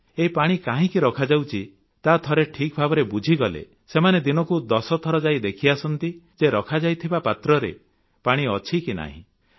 ଏହି ପାଣି କାହିଁକି ରଖାଯାଉଛି ତାହା ଥରେ ଠିକ୍ ଭାବରେ ବୁଝିଗଲେ ସେମାନେ ଦିନକୁ ଦଶଥର ଯାଇ ଦେଖିଆସନ୍ତି ଯେ ରଖାଯାଇଥିବା ପାତ୍ରରେ ପାଣି ଅଛି କି ନାହିଁ